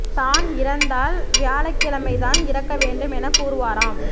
தான் இறந்தால் வியாழக்கிழமை தான் இறக்க வேண்டும் என கூறுவாராம்